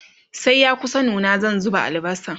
sai ya kusa nuna zan zuba albasan